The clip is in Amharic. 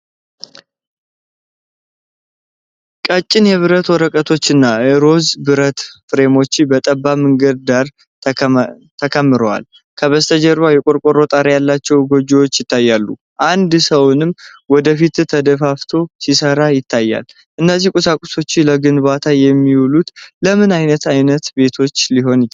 ቀጭን የብረት ወረቀቶች እና ሮዝ የብረት ፍሬሞች በጠባብ መንገድ ዳር ተከምረዋል። ከበስተጀርባ የቆርቆሮ ጣሪያ ያላቸው ጎጆዎች ይታያሉ፤ አንድ ሰውም ወደ ፊት ተደፋፍቶ ሲሰራ ይታያል። እነዚህ ቁሳቁሶች ለግንባታ የሚውሉት ለምን ዓይነት ዓይነት ቤቶች ሊሆን ይችላል?